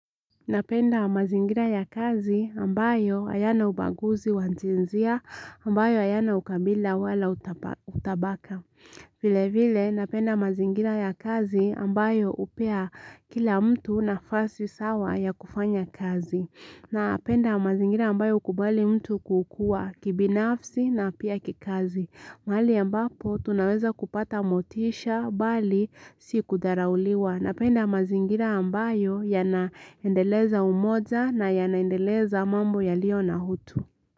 Napenda mazingira ya kazi ambayo hayana ubaguzi wa jinsia ambayo hayana ukabila wala utabaka. Vile vile napenda mazingira ya kazi ambayo hupea kila mtu nafasi sawa ya kufanya kazi. Napenda mazingira ambayo hukubali mtu kukua kibinafsi na pia kikazi. Mahali ambapo tunaweza kupata motisha bali si kudharauliwa. Napenda mazingira ambayo yanaendeleza umoja na yanaendeleza mambo yalio na utu.